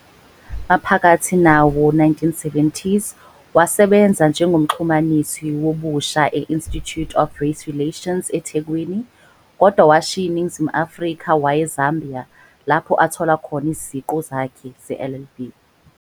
Maphakathi nawo-1970s wasebenza njengomxhumanisi wobusha e-Institute of Race Relations eThekwini kodwa washiya iNingizimu Afrika waya eZambia lapho athola khona iziqu zakhe zeLLB.